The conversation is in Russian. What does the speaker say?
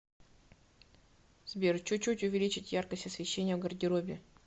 сбер чуть чуть увеличить яркость освещения в гардеробе